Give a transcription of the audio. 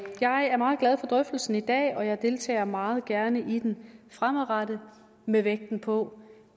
jeg er meget glad for drøftelsen i dag og jeg deltager meget gerne i den fremadrettet med vægten på